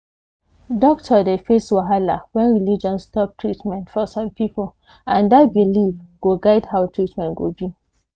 doctor dey face wahala when religion stop treatment for some people and that belief go guide how treatment go be